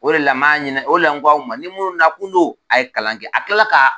O de la n b'a ɲini o la ko aw ma ni minnu nakun don a ye kalan kɛ a tilala ka